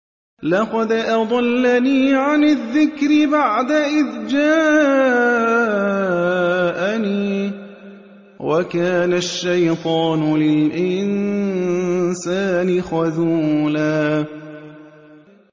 لَّقَدْ أَضَلَّنِي عَنِ الذِّكْرِ بَعْدَ إِذْ جَاءَنِي ۗ وَكَانَ الشَّيْطَانُ لِلْإِنسَانِ خَذُولًا